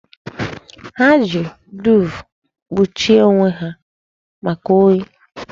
Ha ji duuve kpuchie onwe ha maka oyi.